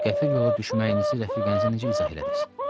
Qəfil yola düşməyinizi rəfiqənizə necə izah elədiniz?